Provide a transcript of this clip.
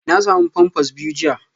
Na samu pampers biyu jiya